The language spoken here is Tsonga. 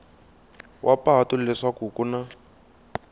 wa patu leswaku ku na